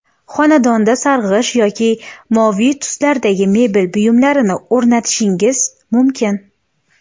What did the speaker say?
Xonadonda sarg‘ish yoki moviy tuslardagi mebel buyumlarini o‘rnatishingiz mumkin.